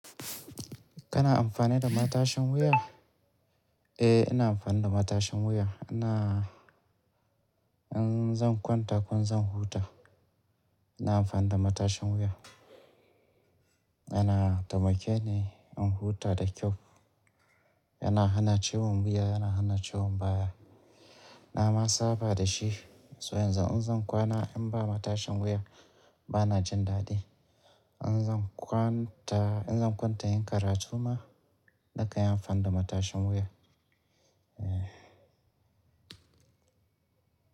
Kana amfani da matashin wuya? Eh, ina amfani da matashin wuya. Ina, in zan kwanta ko in zan huta ina amfani da matashin wuya. Yana taimake ni in huta da kyau. Yana hana ciwon wuya, yana hana ciwon baya. Na ma saba da shi so yanzu in zan kwana in ba matashin wuya bana jin dadi. In zan kwanta, in zan kwanta yin karatu ma nakan yi amfani da matashin wuya. Eh.